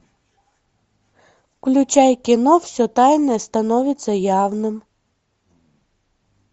включай кино все тайное становится явным